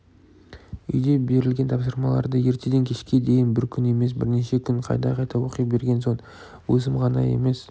үйге берілген тапсырмаларды ертеден кешке дейін бір күн емес бірнеше күн қайта-қайта оқи берген соң өзім ғана емес